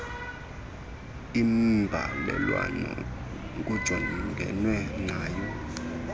imbalelwano kujongenwe nayo